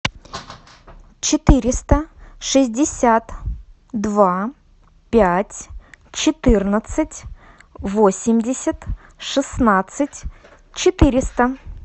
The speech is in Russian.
четыреста шестьдесят два пять четырнадцать восемьдесят шестнадцать четыреста